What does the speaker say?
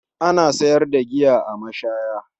Ana sayar da giya a mashaya.